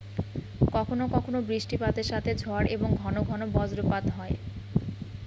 কখনও কখনও বৃষ্টিপাতের সাথে ঝড় এবং ঘন ঘন বজ্রপাত হয়